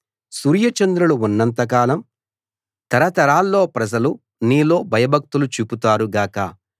సూర్యచంద్రులు ఉన్నంత కాలం తరతరాల్లో ప్రజలు నీలో భయభక్తులు చూపుతారు గాక